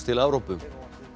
til Evrópu